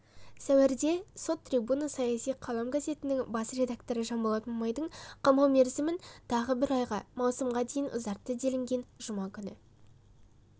сәуірде сот трибуна саяси қалам газетінің бас редакторы жанболат мамайдың қамау мерзімін тағы бір айға маусымға дейін ұзартты делінген жұма күні